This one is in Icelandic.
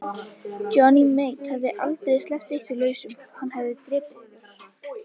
Johnny Mate hefði aldrei sleppt ykkur lausum, hann hefði drepið ykkur.